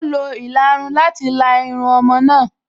Ó lo ìlarun láti la irun ọmọ náà